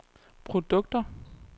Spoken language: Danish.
produkter